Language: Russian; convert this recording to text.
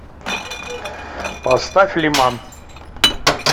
поставь лиман